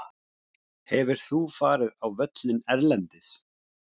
Hefur þú farið á völlinn erlendis?